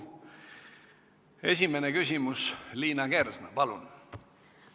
Esimene küsimus, Liina Kersna, palun!